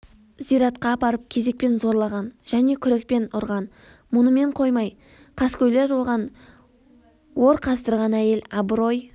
зиратқа апарып кезекпен зорлаған және күрекпен ұрған мұнымен қоймай қаскөйлер оған ор қаздырған әйел абырой